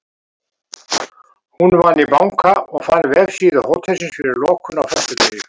Hún vann í banka og fann vefsíðu hótelsins eftir lokun á föstudegi.